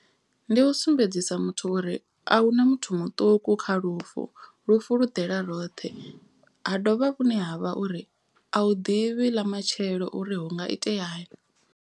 Ndi u sumbedzisa muthu uri a huna muthu muṱuku kha lufu. Lufu lu ḓela roṱhe ha dovha vhune ha vha uri a u ḓivhi ḽa matshelo uri hu nga iteani.